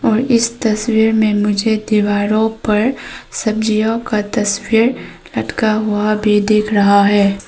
इस तस्वीर में मुझे दीवारों पर सब्जियों का तस्वीर लटका हुआ भी दिख रहा है।